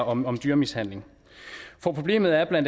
om om dyremishandling for problemet er bla